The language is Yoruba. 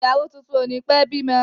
Ìyàwó tuntun o ni pẹ bímọ.